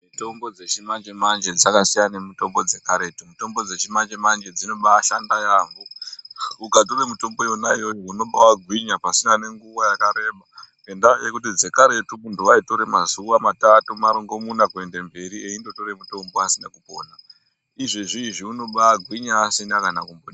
Mitombo dzechimanje manje dzakasiyana nemitombo dzechikaretu. Mitombo dzechimanje manje dzinobashanda yambo. Ukatora mitombo yona iyoyo unoba gwinya pasina nguva yakareba ngenda yekuti dzekaretu muntu ,aitora mazuva matatu marongomuna kuenda mberi eingotora mutombo asina kupona izvezvi anobagwinya aisina.